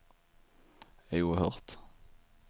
oerhört